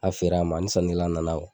A feer'a ma ni sannikɛla nana kuwa